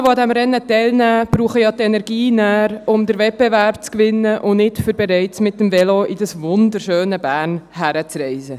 Personen, die an diesem Rennen teilnehmen werden, brauchen ja die Energie nachher, um den Wettbewerb zu gewinnen und nicht, um bereits mit dem Velo nach diesem wunderschönen Bern zu reisen.